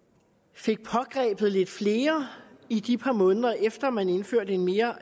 fik pågrebet lidt flere i de par måneder efter man indførte en mere